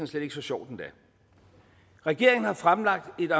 slet ikke så sjovt endda regeringen har fremlagt et